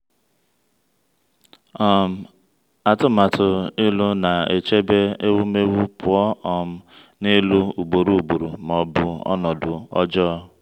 um atụmatụ ịlụ na-echebe ewumewụ pụọ um n’ịlụ ugboro ugboro ma ọ bụ ọnọdụ ọjọọ.